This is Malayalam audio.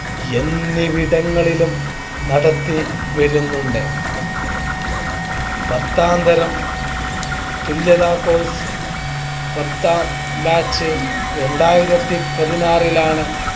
എന്നിവടങ്ങളിലും നടത്തി വരുന്നുണ്ട് പത്താംതരം തുല്യതാ Course പത്താം Batch രണ്ടായിരത്തി പതിനാറിലാണ്